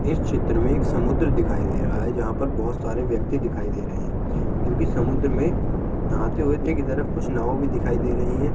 इस छेत्र में एक समुद्र दिखाई दे रहा है जहा पर बहुत सारे व्यक्ति दिखाई दे रहे है जो कि समुद्र में नहाते हुए की तरफ कुछ नाव भी दिखाई दे रही है।